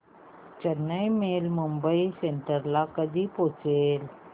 Chennai mail Mumbai central ला कधी पोहचेल